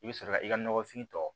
I bɛ sɔrɔ ka i ka nɔgɔfin tɔ